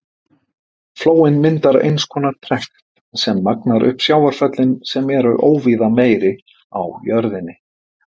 Flóinn myndar eins konar trekt sem magnar upp sjávarföllin sem eru óvíða meiri á jörðinni.